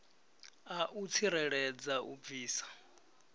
a u tsireledza u bvisa